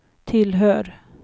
tillhör